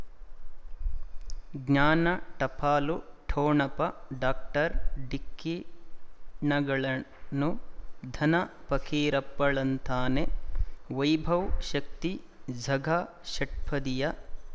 ಜ್ಞಾನ ಟಪಾಲು ಠೊಣಪ ಡಾಕ್ಟರ್ ಢಿಕ್ಕಿ ಣಗಳನು ಧನ ಫಕೀರಪ್ಪ ಳಂತಾನೆ ವೈಭವ್ ಶಕ್ತಿ ಝಗಾ ಷಟ್ಪದಿಯ